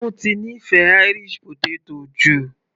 Ó ti nífẹ̀ẹ́ Irish potato jù